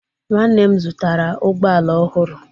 Nwanne m zụtara ụgbọ ala ohuru